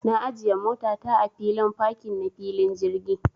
Na ajiya mota ta a filin fakin na filin jirgi.